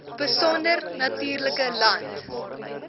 besonder natuurlike land